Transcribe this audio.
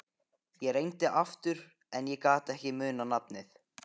Ég reyndi aftur en ég gat ekki munað nafnið.